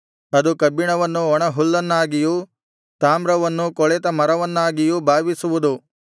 ಅದು ಕಬ್ಬಿಣವನ್ನು ಒಣಹುಲ್ಲನ್ನಾಗಿಯೂ ತಾಮ್ರವನ್ನು ಕೊಳೆತ ಮರವನ್ನಾಗಿಯೂ ಭಾವಿಸುವುದು